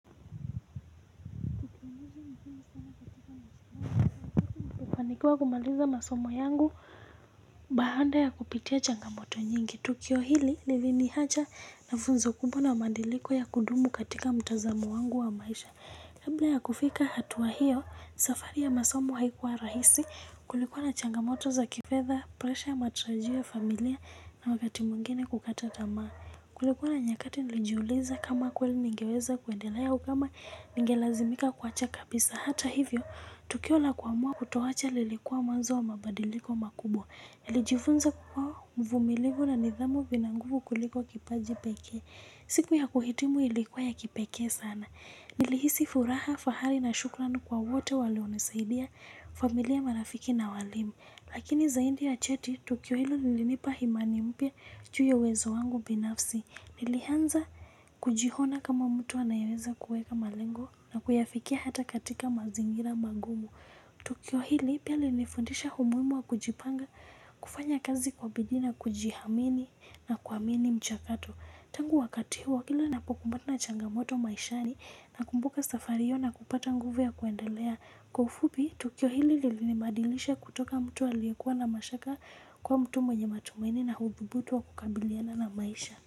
Kufanikiwa kumaliza masomo yangu baada ya kupitia changamoto nyingi. Tukio hili liliniacha na funzo kubwa na mabadiliko ya kudumu katika mtazamo wangu wa maisha. Kabla ya kufika hatua hiyo, safari ya masomo haikuwa rahisi kulikuwa na changamoto za kifedha, presha ya matarijio ya familia na wakati mwingine kukata tamaa. Kulikuwa na nyakati nilijuuliza kama kweli ningeweza kuendelea au kama ningelazimika kuacha kabisa. Hata hivyo, tukio la kuamua kutowacha lilikuwa mwanzo wa mabadiliko makubwa. Nilijifunza kuwa uvumilivu na nidhamu vina nguvu kuliko kipaji peke. Siku ya kuhitimu ilikuwa ya kipekee sana. Nilihisi furaha, fahari na shukranu kwa wote waleonesaidia familia marafiki na walimu. Lakini zaidi ya cheti, tukio hilo lilinipa imani mpya juu ya uwezo wangu binafsi. Nilianza kujiona kama mtu anayeweza kueka malengo na kuyafikia hata katika mazingira magumu. Tukio hili pia lilinifundisha umuhimu wa kujipanga kufanya kazi kwa bidii na kujiamini na kuamini mchakato. Tangu wakati huo kila napokumbana na changamoto maishani nakumbuka safari hiyo na kupata nguvu ya kuendelea. Kwa ufupi, tukio hili lilinibadilisha kutoka mtu aliekuwa na mashaka kuwa mtu mwenye matumaini na udhubutu wa kukabiliana na maisha.